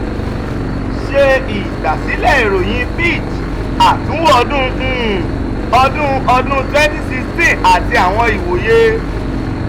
ṣe igbasilẹ iroyin fitch: atunwo ọdun um ọdun ọdun twemty sixteen ati awọn iwoye